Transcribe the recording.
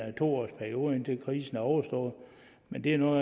to årsperiode indtil krisen er overstået men det er nu